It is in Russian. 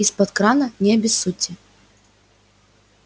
изпод крана не обессудьте